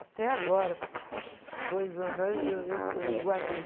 Até agora, dois anos atrás, eu, eu, eu guardei.